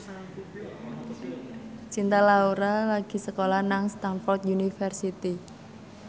Cinta Laura lagi sekolah nang Stamford University